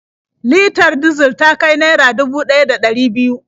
Litar dizal ta kai naira dubu ɗaya da ɗari biyu.